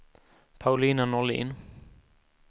Paulina Norlin